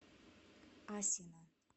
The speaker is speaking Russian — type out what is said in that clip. асино